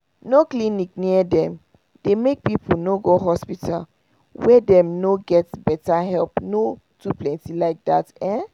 no clinic near dem dey make people no go hospital where dem no get better helpno to plenty like that ehn